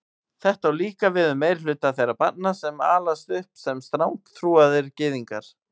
Þetta á líka við um meirihluta þeirra barna sem alast upp sem strangtrúaðir gyðingar.